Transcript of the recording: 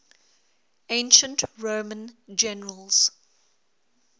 ancient roman generals